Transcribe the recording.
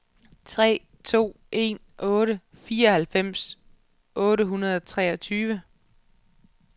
tre to en otte fireoghalvfems otte hundrede og treogtyve